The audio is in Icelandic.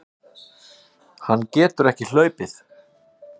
Hann getur ekki hlaupið.